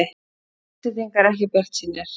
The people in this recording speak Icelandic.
Íslendingar ekki bjartsýnir